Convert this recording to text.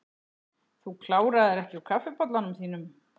Þú kláraðir ekki úr kaffibollanum þínum.